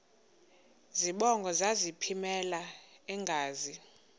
zibongo zazlphllmela engazi